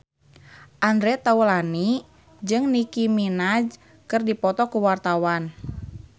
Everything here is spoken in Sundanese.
Andre Taulany jeung Nicky Minaj keur dipoto ku wartawan